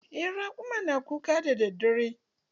Eh maguna na kuka daddadare.